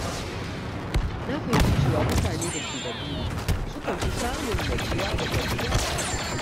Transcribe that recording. Na fahimci cewa mutane da ke da buri sukan fi samun natsuwa da gamsuwa a rayuwa.